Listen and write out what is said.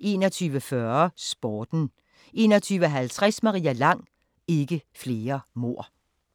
21:40: Sporten 21:50: Maria Lang: Ikke flere mord